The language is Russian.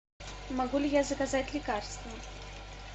могу ли я заказать лекарства